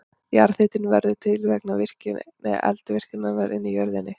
Jarðhitinn verður til vegna eldvirkninnar inni í jörðinni.